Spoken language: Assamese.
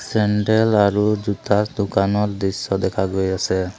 চেণ্ডেল আৰু জোতা দোকানৰ দৃশ্য দেখা গৈ আছে।